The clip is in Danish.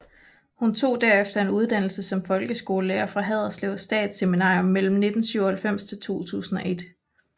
Hun tog derefter en uddannelse som folkeskolelærer fra Haderslev Statsseminarium mellem 1997 til 2001